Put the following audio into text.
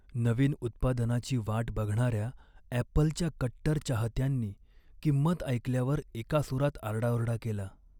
नवीन उत्पादनाची वाट बघणाऱ्या ॲपलच्या कट्टर चाहत्यांनी किंमत ऐकल्यावर एकासुरात आरडाओरडा केला.